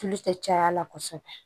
Tulu tɛ caya kosɛbɛ